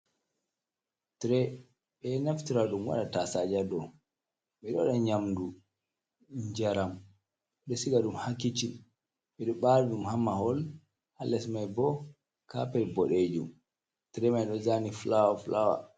Tire: Ɓeɗo naftira ɗum waɗa tasaje ha dou mai, ɓeɗo waɗa nyamdu, njaram, ɓeɗo siga ɗum ha kicin, ɓeɗo ɓari ɗum ha mahol. Ha les mai bo capet boɗejum. tire mai ɗo zani fulawa-fulawa.